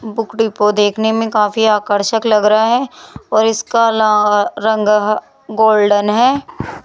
Book depot देखने में काफी आकर्षक लग रहा है और इसका ला रंग ह गोल्डन है।